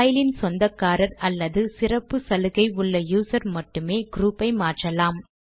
பைலின் சொந்தக்காரர் அல்லது சிறப்பு சலுகை உள்ள யூசர் மட்டுமே க்ரூப் ஐ மாற்றலாம்